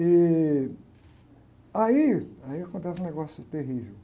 E aí, aí acontece um negócio terrível.